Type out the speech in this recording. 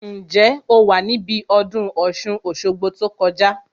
Ǹjẹ́ o wà níbí ọdún Ọ̀ṣun Òṣogbo tó kọjá